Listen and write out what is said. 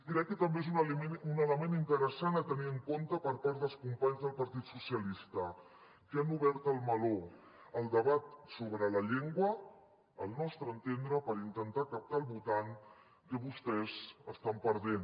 crec que també és un element interessant a tenir en compte per part dels companys del partit socialista que han obert el meló al debat sobre la llengua al nostre entendre per intentar captar el votant que vostès estan perdent